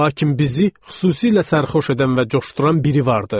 Lakin bizi xüsusilə sərxoş edən və coşduran biri vardı.